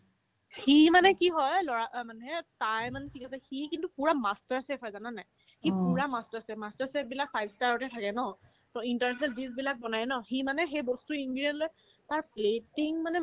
সি মানে কি হয় ল'ৰা মানে তাৰ ইমান field আছে সি কিন্তু পূৰা master chef হয় জানানে নাই সি পূৰা master chef master chef বিলাক five star তে থাকে ন to interested dish বিলাক বনাই ন সি মানে সেই বস্তু ingredient লৈ তাৰ platting মানে